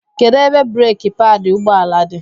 Kedu ebe breeki paadi ụgbọ ala dị?